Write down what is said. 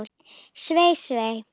Svei, svei.